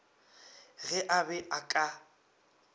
ge a be a ka